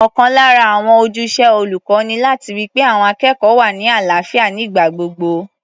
Ọ̀kan lára àwọn ojúṣe olùkọ́ ni láti ri pé àwọn akẹ́kọ̀ọ́ wà ní àlàáfíà nígbà gbogbo.